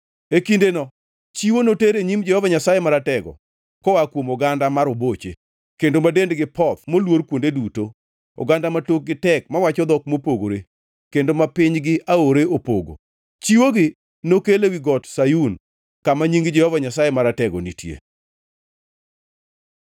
E kindeno chiwo noter e nyim Jehova Nyasaye Maratego koa kuom oganda ma roboche, kendo ma dendgi poth, moluor kuonde duto, oganda ma tokgi tek mawacho dhok mopogore kendo ma pinygi aore opogo. Chiwogi nokel ewi Got Sayun kama Nying Jehova Nyasaye Maratego nitie.